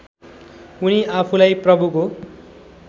उनी आफूलाई प्रभुको